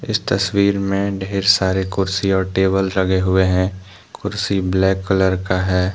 इस तस्वीर में ढेर सारे कुर्सी और टेबल लगे हुए हैं कुर्सी ब्लैक कलर का है।